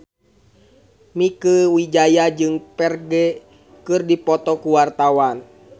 Mieke Wijaya jeung Ferdge keur dipoto ku wartawan